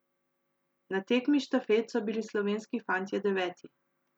Na tekmi štafet so bili slovenski fantje deveti.